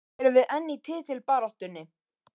Erum við enn í titilbaráttunni?